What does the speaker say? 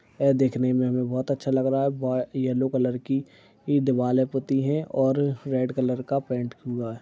एह देखने में हमें बहुत अच्छा लग रहा है। बॉय यलो कलर की ई दीवाले पुती हैं और रेड कलर का पेन्ट हुआ है।